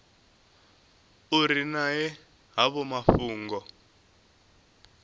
u ri ṅea havho mafhungo